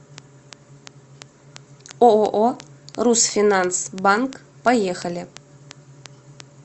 ооо русфинанс банк поехали